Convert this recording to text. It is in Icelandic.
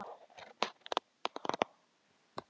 Ekkert gerist nema í morknum undirheimum.